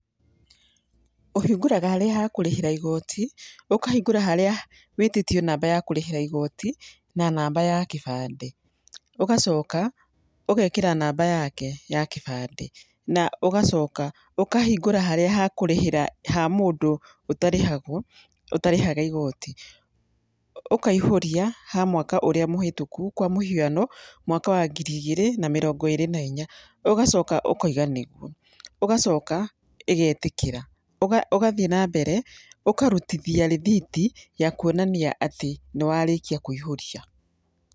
Ũhingũraga harĩa ha kũrĩhĩra igoti, ũkahingũra harĩa wĩtĩtio namba ya kũrĩhĩra igoti, na namba ya kĩbandĩ. Ũgacoka, ũgekĩra namba yake ya kĩbandĩ, na ũgacoka ũkahingũra harĩa ha kũrĩhĩra ha mũndũ ũtarĩhagwo, ũtarĩhaga igoti. Ũkaihũria, ha mwaka ũrĩa mũhĩtũku, kwa mũhiano, mwaka wa ngiri igĩrĩ na mĩrongo ĩĩrĩ na inya. Ũgacoka ũkaiga nĩguo. Ũgacoka ĩgetĩkĩra. Ũgathiĩ na mbere, ũkarutithia rĩthiti, ya kuonania atĩ nĩ warĩkia kũihũria.